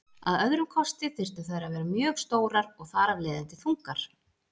Að öðrum kosti þyrftu þær að vera mjög stórar og þar af leiðandi þungar.